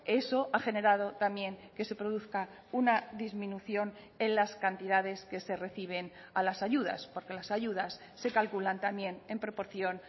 eso ha generado también que se produzca una disminución en las cantidades que se reciben a las ayudas porque las ayudas se calculan también en proporción